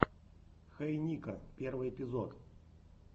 хей нико первый эпизод